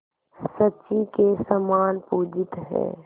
शची के समान पूजित हैं